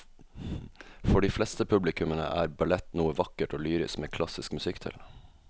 For de fleste publikummere er ballett noe vakkert og lyrisk med klassisk musikk til.